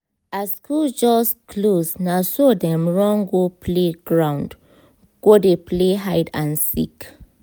as school just close naso dem run go play ground go dey play hide and seek